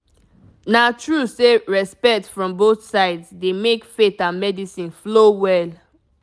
na true say respect from both sides dey make faith and medicine flow well